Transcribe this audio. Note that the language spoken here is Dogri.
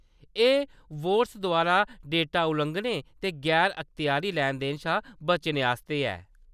एह्‌‌ बोट्स द्वारा डेटा लुआंघनें ते गैर-अखत्यारी लैन-देन शा बचने आस्तै ऐ।